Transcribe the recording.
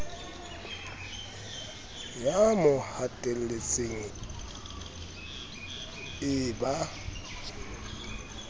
ya mo hatelletseng e ba